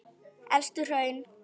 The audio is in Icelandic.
Elstu hraun